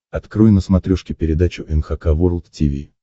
открой на смотрешке передачу эн эйч кей волд ти ви